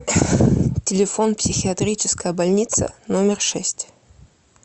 телефон психиатрическая больница номер шесть